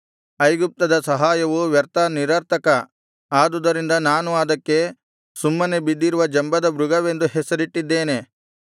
ಐಗುಪ್ತದ ಸಹಾಯವು ವ್ಯರ್ಥ ನಿರರ್ಥಕ ಆದುದರಿಂದ ನಾನು ಅದಕ್ಕೆ ಸುಮ್ಮನೆ ಬಿದ್ದಿರುವ ಜಂಬದ ಮೃಗವೆಂದು ಹೆಸರಿಟ್ಟಿದ್ದೇನೆ